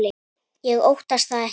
Ég óttast það ekki.